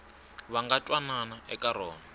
va nga twanana eka rona